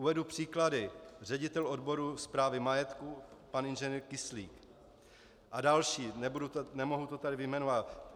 Uvedu příklady: ředitel odboru správy majetku pan Ing. Kyslík a další, nemohu je tady vyjmenovávat.